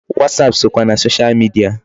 WhatsApp sokwa na social media.